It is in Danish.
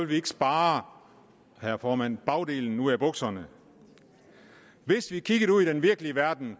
vi ikke spare herre formand bagdelen ud af bukserne hvis vi kigger ud i den virkelige verden